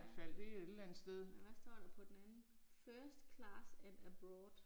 Ja. Nåh hvad står der på den anden. First class and abroad